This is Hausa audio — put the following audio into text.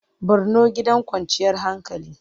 Borno gidan kwanciyar hankali.